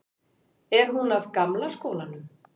Er hún af gamla skólanum?